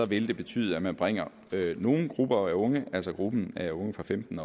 vil det betyde at man bringer en gruppe af unge altså gruppen af unge fra femten